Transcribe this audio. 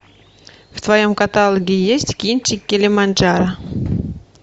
в твоем каталоге есть кинчик килиманджаро